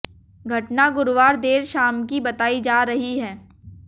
घटना गुरुवार देर शाम की बताई जा रही है